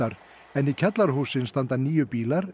en í kjallara hússins standa níu bílar